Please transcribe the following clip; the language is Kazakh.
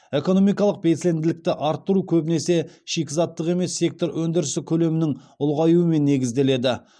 экономикалық белсенділіктің артуы көбінесе шикізаттық емес сектор өндірісі көлемінің ұлғаюымен негізделеді